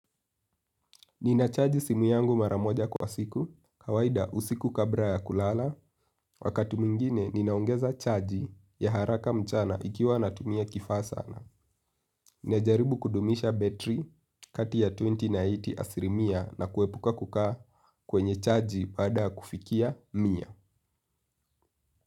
Ninachaji simu yangu maramoja kwa siku, kawaida usiku kabla ya kulala, wakati mwingine ninaongeza chaji ya haraka mchana ikiwa natumia kifaa sana. Najaribu kudumisha betri kati ya ishirini na themanini asilimia na kuepuka kukaa kwa chaji baada ya kufika mia.